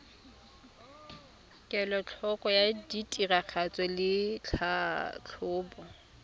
kelotlhoko ya tiragatso le tlhatlhobo